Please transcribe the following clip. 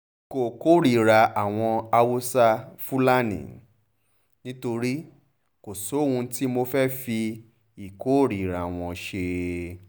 n kò kórìíra àwọn haúsá-fúlani nítorí kò sóhun tí mo fẹ́ẹ́ fi ìkórìíra wọn ṣe